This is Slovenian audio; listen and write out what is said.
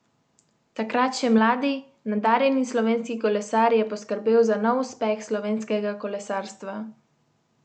Takrat še mladi, nadarjeni slovenski kolesar je poskrbel za nov uspeh slovenskega kolesarstva.